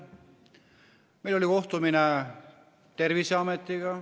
Meil oli kohtumine Terviseametiga.